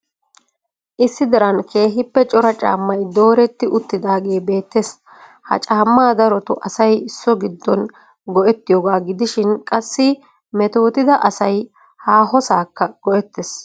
Issi diran keehippe cora caammay dooretti uttidaagee beettes. Ha caamma darotoo asay so giddon go"ettiyooga gidishin qassi metoottida asay haahosakka go"ettees.